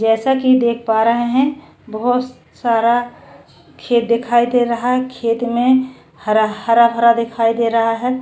जैसा की देख पा रहे है बहोत सारा खेत दिखाई दे रहा है खेत में हरा हराभरा दिखाई दे रहा है।